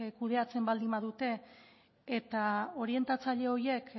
kudeatzen baldin badute eta orientatzaile horiek